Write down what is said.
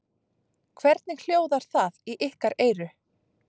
Hvernig hljóðar það í ykkar eyru?